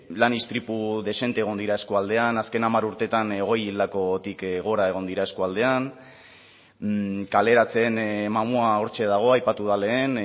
lan istripu dexente egon dira eskualdean azken hamar urteetan hogei hildakotik gora egon dira eskualdean kaleratze mamua hortxe dago aipatu da lehen